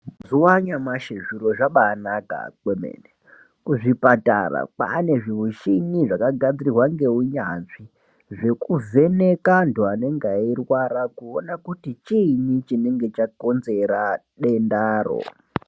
Mazuwa anyamashi zviro zvabaanaka kwemene, kuzvipatara kwaane zvimuchini zvakagadzirwa ngeunyanzvi zvekuvheneka antu anenge eirwara kuona kuti chiinyi chinenge chakonzera dendaro.